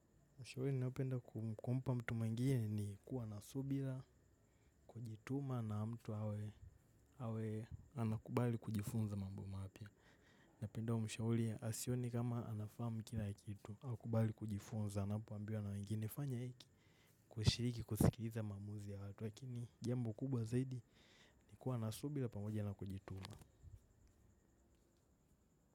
Ushahuri, ninaopenda kumpa mtu mwengine ni kuwa na subila, kujituma na mtu hawe anakubali kujifunza mambo mapya. Napenda mshahuli, asione kama anafahamu kila kitu, akubali kujifunza, anapoambiwa na wengine fanya hiki, kushiriki, kusikiriza maamuzi ya watu, lakini jambo kubwa zaidi ni kuwa na subila pamoja na kujituma.